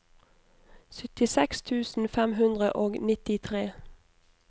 syttiseks tusen fem hundre og nittitre